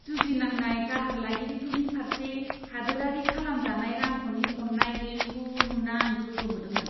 जुजिनांनाय दाहार लागिरिफोरनि फारसे हादोरारि खालामजानाय रांख'नि अननाय गैयैखौ नुना आं गोमोदोंमोन!